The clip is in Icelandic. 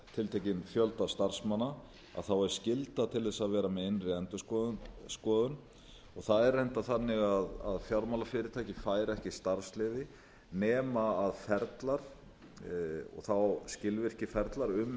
tiltekinn fjölda starfsmanna að þá er skylda til þess að vera með innri endurskoðun og það er reyndar þannig að fjármálafyrirtæki fær ekki starfsleyfi nema ferlar og þá skilvirkir ferlar um